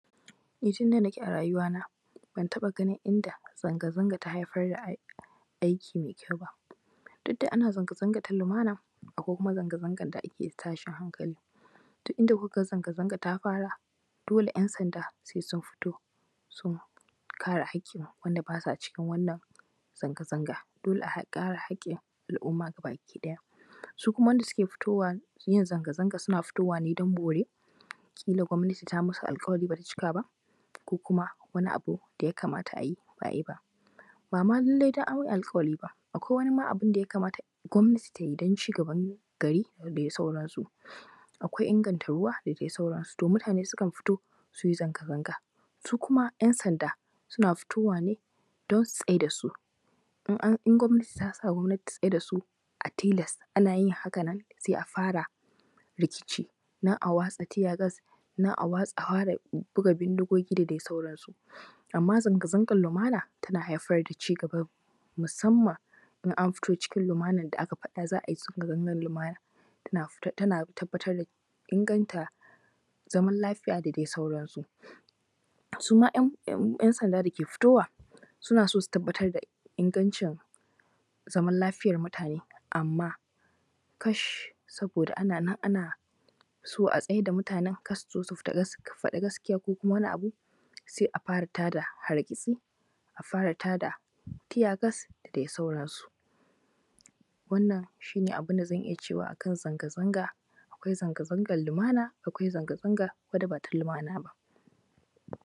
Ni tun da nake a rayuwana, ban taɓagunin in da zanga-zanga ta haifar aikin mai kyau ba. Duk da ana zanga-zanga na lumana, akwai kuma zanga-zanga na tashin hankali. Dun inda kuka zanga-zanga ta fara dole sai ‘yansanda sun fito, su kare haƙin wand aba sa cikin wannan zanga-zanga, dole a kare haƙin al’umma gaba ɗaya. Su kuama wanda za su fito da inyan zanga-zanga, suna fitowa don bore, kila ta masu alƙawari ba ta cika ba, ko kuma wani abu da yakamata a yi ba a yi ba. Ba ma lallai sai an yi alƙawari ba, akwai ma wani abu da yakamata gwamnati ta yid an cigaban gari da dai sauransu. Akwai inganta ruwa da dai sauransu, to mutane sukan fito su yi zanga-zanga, su kuma ‘yansanda suna fitowa ne don su tsai da su. In an, in gwamnati ta sa gwamnat ta tsai da su, a tilas ana yin haka nan sai a fara rikici, nan a watsa tiyagas, nan a hura guga bindigogi da dai sauransu. Amma zanga-zangan lumana tana haifar da cigaba ne, musamman in an fito cikin lumanan da aka faɗa za a yi zanga-zangan lumana. Tana tabbatar da inganta zaman lafiya da dai sauransu, su ma ‘yansan da ke fitowa suna so su tabbatar da ingancin, zaman lafiyar mutane amma, kash! Saboda ana nan ana so a tasi da mutanen kar su zo su faɗa gaskiya ko kuma wani abu sai a fara hargitsi. A fara ta da tiysgas da dai sauransu. wannan shi ne abun da zan iya cewa a kan zanga-zanga, akwai zanga-zangan lumana, akwai zanga-zanga da ba ta lumana.